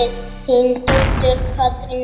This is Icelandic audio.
Þín dóttir, Katrín Ósk.